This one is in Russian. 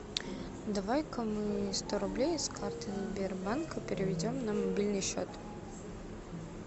давай ка мы сто рублей с карты сбербанка переведем на мобильный счет